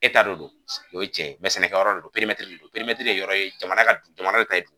E ta de do o ye cɛn ye sɛnɛkɛ yɔrɔ de do de do ye yɔrɔ ye jamana ka jamana bɛ